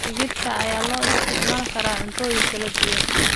Digirta ayaa loo isticmaali karaa cuntooyin kala duwan.